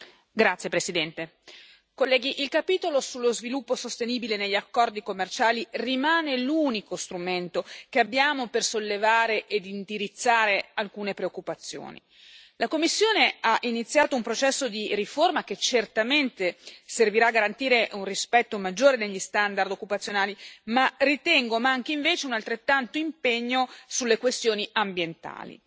Signor Presidente, onorevoli colleghi, il capitolo sullo sviluppo sostenibile negli accordi commerciali rimane l'unico strumento che abbiamo per sollevare ed indirizzare alcune preoccupazioni. La Commissione ha iniziato un processo di riforma che certamente servirà a garantire un rispetto maggiore degli standard occupazionali ma ritengo manchi, invece, un analogo impegno sulle questioni ambientali.